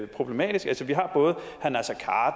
problematisk